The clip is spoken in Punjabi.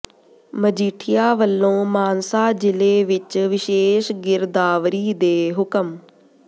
ਮਜੀਠੀਆ ਵਲੋਂ ਮਾਨਸਾ ਜ਼ਿਲ੍ਹੇ ਵਿਚ ਵਿਸ਼ੇਸ਼ ਗਿਰਦਾਵਰੀ ਦੇ ਹੁਕਮ